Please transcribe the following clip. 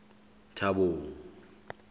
thabong